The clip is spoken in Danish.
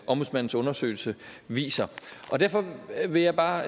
ombudsmandens undersøgelse viser derfor vil jeg bare